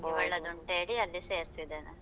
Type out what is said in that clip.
ಅಲ್ಲಿ ಸೇರ್ಸಿದ್ದೇನೆ.